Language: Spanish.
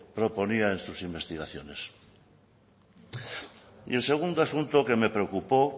proponía en sus investigaciones y el segundo asunto que me preocupó